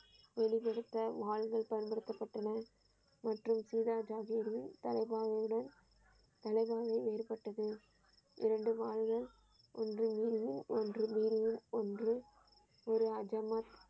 வெளிப்படுத்த வாழ்கள் பயன்படுத்தப்பட்டன மற்றும் சீதா ஜாதியினர் தலைப்பாகையுடன தலைமையில் ஏற்பட்டது இரண்டு வாழ்கள் ஒன்று மீறிய ஒன்று மீறிய ஒன்று ஒரு ஜமாத்.